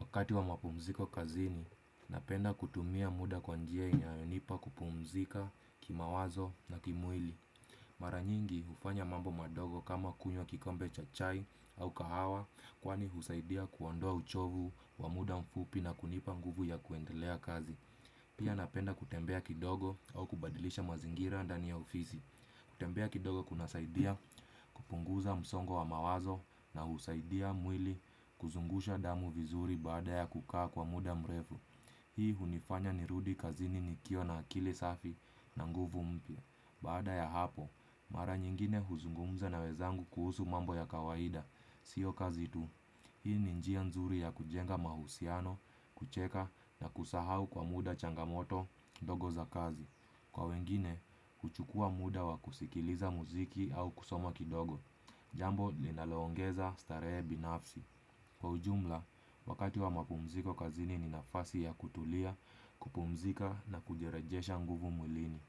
Wakati wa mapumziko kazini, napenda kutumia muda kwa njiya inayonipa kupumzika kimawazo na kimwili. Maranyingi ufanya mambo madogo kama kunywa kikombe cha chai au kahawa kwani husaidia kuwandoa uchovu wa muda mfupi na kunipa nguvu ya kuendelea kazi. Pia napenda kutembea kidogo au kubadilisha mazingira ndani ya ofizi. Kutembea kidogo kuna saidia kupunguza msongo wa mawazo na husaidia mwili kuzungusha damu vizuri baada ya kukaa kwa muda mrefu. Hii hunifanya ni rudikazini nikiwa na akili safi na nguvu mpia. Baada ya hapo, mara nyingine huzungumza na wezangu kuhusu mambo ya kawaida. Sio kazi tu. Hii ni njia nzuri ya kujenga mahusiano, kucheka na kusahau kwa muda changamoto dogo za kazi. Kwa wengine, kuchukua muda wa kusikiliza muziki au kusoma kidogo jambo linaloongeza staree binafsi kwa ujumla, wakati wa mapumziko kazini ni nafasi ya kutulia, kupumzika na kujirejesha nguvu muilini.